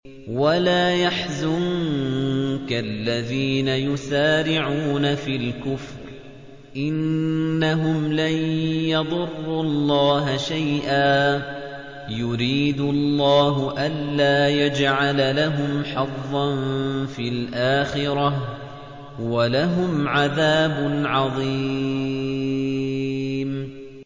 وَلَا يَحْزُنكَ الَّذِينَ يُسَارِعُونَ فِي الْكُفْرِ ۚ إِنَّهُمْ لَن يَضُرُّوا اللَّهَ شَيْئًا ۗ يُرِيدُ اللَّهُ أَلَّا يَجْعَلَ لَهُمْ حَظًّا فِي الْآخِرَةِ ۖ وَلَهُمْ عَذَابٌ عَظِيمٌ